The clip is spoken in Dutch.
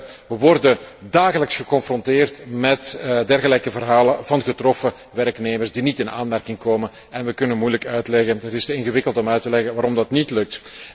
Wij worden dagelijks geconfronteerd met dergelijke verhalen van getroffen werknemers die niet in aanmerking komen, en wij kunnen moeilijk uitleggen het is te ingewikkeld om uit te leggen waarom dat niet lukt.